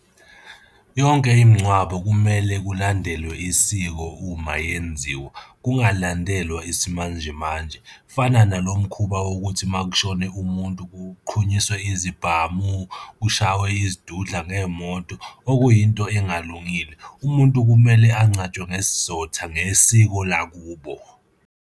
Yonke imingcwabo kumele kulandelwe isiko uma yenziwa, kungalandelwa isimanje manje. Kufana nalo mkhuba wokuthi uma kushone umuntu kuqhunyiswe izibhamu, kushaywe izidudla ngey'moto, okuyinto engalungile. Umuntu kumele angcwatshwe ngesizotha ngesiko lakubo.